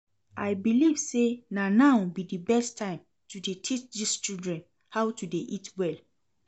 I believe say na now be the best time to dey teach dis children how to dey eat well